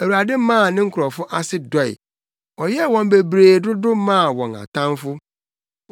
Awurade maa ne nkurɔfo ase dɔe; ɔyɛɛ wɔn bebree dodo maa wɔn atamfo,